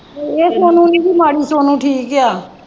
ਇਹ ਸੋਨੂੰ ਦੀ ਨਹੀਂ ਇਹਦੀ ਲਾੜੀ ਸੋਨੂੰ ਠੀਕ ਹੈ ।